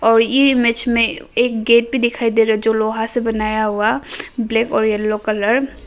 और ये इमेज में एक गेट भि दिखाई दे रहा जो लोहा से बनाया हुआ ब्लैक और येलो कलर --